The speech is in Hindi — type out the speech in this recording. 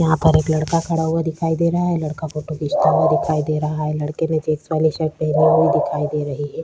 यहाँ पर एक लड़का खड़ा हुआ दिखाई दे रहा है लड़का फोटो खींचता हुआ दिखाई दे रहा है लड़के ने चेक्स वाली शर्ट पेहनी हुई दिखाई दे रही हैं ।